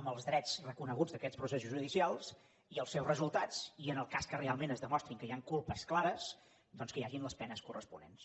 amb els drets reconeguts d’aquests processos judicials i els seus resultats i en el cas que realment es demostri que hi han culpes clares doncs que hi hagin les penes corresponents